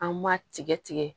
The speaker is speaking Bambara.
An b'a tigɛ tigɛ